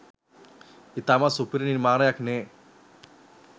ඉතාමත්ම සුපිරි නිර්මාණයක්නෙ